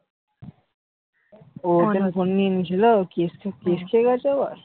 ও ওর জন্য ফোন নিয়ে নিয়েছিল? case case খেয়ে গেছে আবার?